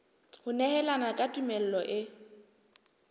ho nehelana ka tumello e